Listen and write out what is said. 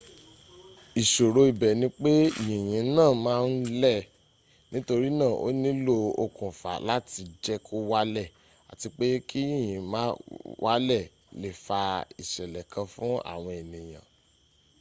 ìṣòro ibẹ̀ ní pé yìnyín náà ma ń lẹ̀ nítorínà ó nílò okùnfà láti jẹ́ kó wálẹ̀ àti pé kí yìnyín ma wálẹ̀ lé fa ìṣẹ̀lẹ̀ kan fún àwọn ènìyàn